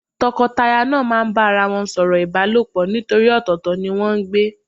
Tọkọtaya náà a máa bá ara wọn sọ̀rọ̀ ìbálòpọ̀ nítorí ọ̀tọ̀ọ̀tọ̀ ni wọ́n ń gbé.